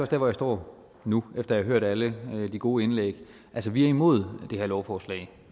der hvor jeg står nu efter at hørt alle de gode indlæg altså vi er imod det her lovforslag